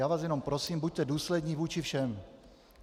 Já vás jenom prosím, buďte důslední vůči všem.